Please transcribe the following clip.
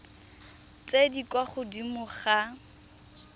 tse di kwa godimo ga